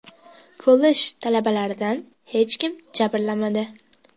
Kollej talabalaridan hech kim jabrlanmadi.